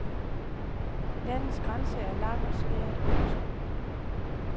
Landets grænse er lang og svær at overskue.